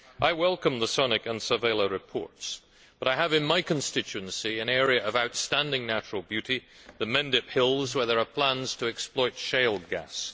I welcome the Sonik and Tzavela reports, but I have in my constituency an area of outstanding natural beauty, the Mendip Hills, where there are plans to exploit shale gas.